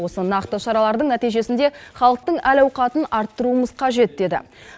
осы нақты шаралардың нәтижесінде халықтың әл ауқатын арттыруымыз қажет деді